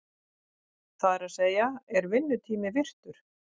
Það er að segja, er vinnutími virtur?